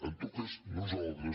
en tot cas nosaltres